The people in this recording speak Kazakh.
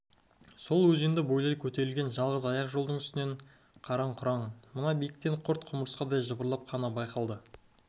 сол өзенді бойлай көтерілген жалғыз аяқ жолдың үстінен қараң-құраң мына биіктен құрт-құмырсқадай жыбырлап қана байқалады